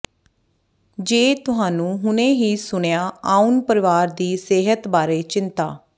ਜੇ ਤੁਹਾਨੂੰ ਹੁਣੇ ਹੀ ਸੁਣਿਆ ਆਉਣ ਪਰਿਵਾਰ ਦੀ ਸਿਹਤ ਬਾਰੇ ਚਿੰਤਾ